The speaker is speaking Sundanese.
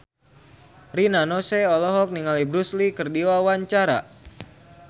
Rina Nose olohok ningali Bruce Lee keur diwawancara